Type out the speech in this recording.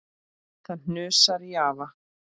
Það hnussar í afa.